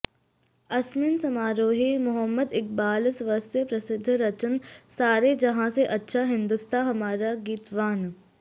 अस्मिन् समारोहे मोहम्मद् इक्बालः स्वस्य प्रसिद्धं रचनं सारे जहाँ से अच्छा हिन्दोस्ताँ हमारा गीतवान्